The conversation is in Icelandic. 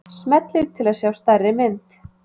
Smellið til að sjá stærri mynd.